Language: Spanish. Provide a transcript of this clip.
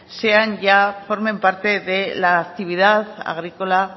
sean ya formen parte de la actividad agrícola